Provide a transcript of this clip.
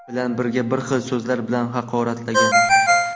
bilan birga har xil so‘zlar bilan haqoratlagan.